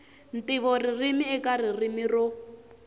ntivo ririmi eka ririmi ro